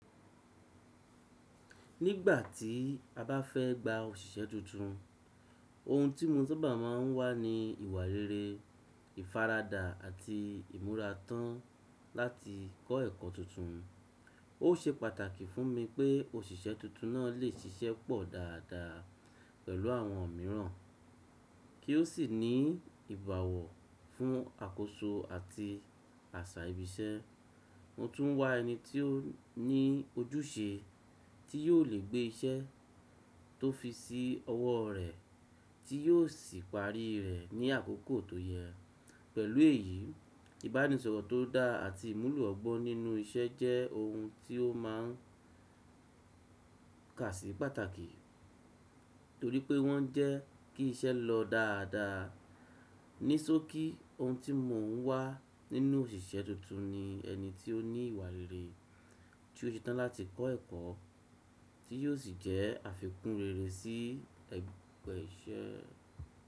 Nígbà tí a bá fẹ́ gba òṣìṣẹ́ tuntun, ohun tí mo saaba máa ń wá ni ìwà rere, ìfaradà àti ìmúra tán láti kọ́ ẹ̀kọ́ tuntun. Ó ṣe pàtàkì fún mi pé òṣìṣẹ́ tuntun náà lè ṣiṣẹ́ pọ̀ dáadáa pẹ̀lú àwọn mìíràn kí ó sì ní ìbáwọ̀ fún àkóso àti àṣà ibi iṣẹ́. Mo tún wá ẹni tí ó ní ojúṣe tí yóò lè gbé iṣẹ́ tó fi sí ọwọ́ rẹ̀ tí yóò sì parí rẹ̀ ní àkókò tó yẹ. Pẹ̀lú èyí, ìbánisọ̀rọ̀ tó dá àti ìmúlò ọgbọ́n nínú iṣẹ́ jẹ́ ohun tí ó máa ń kásí pàtàkì torí pé wọ́n jẹ́ kí iṣẹ́ lọ dáadáa. Ní sókí, ohun tí mo ń wá nínú òṣìṣẹ́ tuntun ni ẹni tí ó ní ìwà rere, tí ó ṣe tán láti kọ́ ẹ̀kọ́ tí yóò sì jẹ́ àfikún rere sí ẹgbẹ́ iṣẹ́.